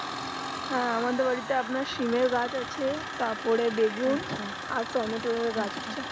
হ্যাঁ আমাদের বাড়িতে আপনার সিমের গাছ আছে তাপরে বেগুন আচ্ছা আর টপমেটোর গাছ আছে